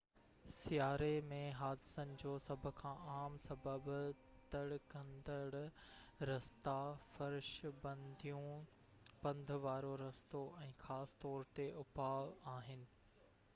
سياري ۾ حادثن جو سڀ کان عام سبب ترڪندڙ رستا، فرش بنديون پند وارو رستو ۽ خاص طور تي اپاءُ آهن